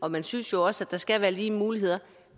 og man synes jo også at der skal være lige muligheder